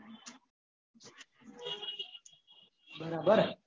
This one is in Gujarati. બરાબર